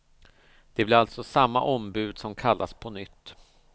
Det blir alltså samma ombud som kallas på nytt.